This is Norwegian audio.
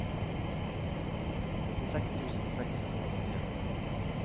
nittiseks tusen seks hundre og nittien